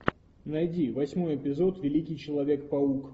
найди восьмой эпизод великий человек паук